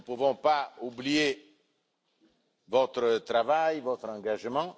Nous ne pouvons pas oublier votre travail et votre engagement.